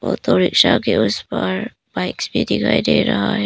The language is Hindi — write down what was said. ऑटोरिक्शा के उस पार बाइक्स भी दिखाई दे रहा है।